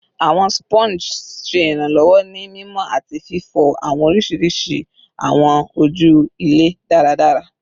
Awọn Sponges ṣe iranlọwọ ni mimọ ati fifọ awọn oriṣiriṣi awọn oju ilẹ daradara